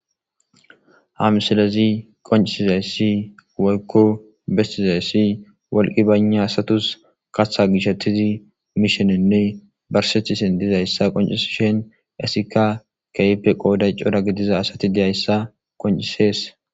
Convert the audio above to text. hamsalezi qoncisizayssi woykko bestizayssi wolqi bayna asatus kaththa gishetizi miishenenne barsethisen dizayssa qoncis shen esika kaipe qooday cora gidiza asati diyayssa qoncisees